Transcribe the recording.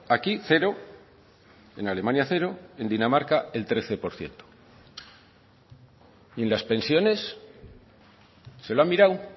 aquí cero en alemania cero en dinamarca el trece por ciento y en las pensiones se lo ha mirado